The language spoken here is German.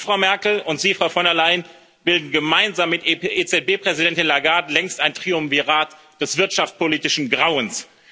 Sie, Frau Merkel, und Sie, Frau von der Leyen, bilden gemeinsam mit EZB Präsidentin Lagarde längst ein Triumvirat des wirtschaftspolitischen Grauens.